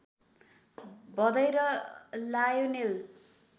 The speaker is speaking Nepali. भदै र लायोनेल